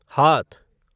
हाथ